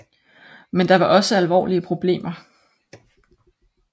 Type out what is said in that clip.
Men der var også alvorlige problemer